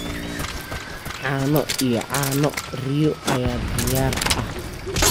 Caano iyo caano riyo ayaa diyaar ah.